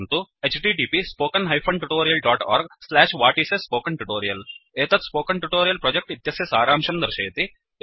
1 एतत् spoken tutorial project इत्यस्य सारांशं दर्शयति